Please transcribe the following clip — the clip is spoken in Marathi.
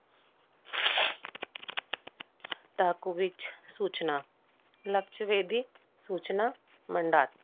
सूचना लक्षवेधी सूचना मंडात.